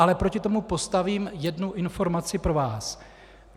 Ale proti tomu postavím jednu informaci pro vás.